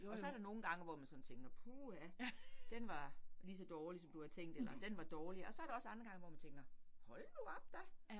Og så der nogle gange, hvor man sådan tænker puha, den var ligeså dårlig, som du havde tænkt eller den var dårlig, og så der også andre gange, hvor man tænker hold nu op da